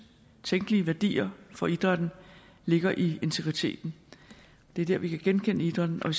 tænkelige værdier for idrætten ligger i integriteten det er dér vi kan genkende idrætten og